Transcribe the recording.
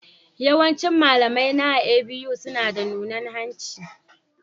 Yawancin malamaina a A.B.U suna da nunan hanci.